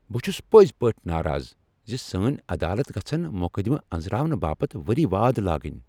بہٕ چُھس پٔزۍ پٲٹھۍ ناراض زِ سٲنۍ عدالت گژھن مقدمہٕ انزراونہٕ باپت ؤری واد لاگٕنۍ ۔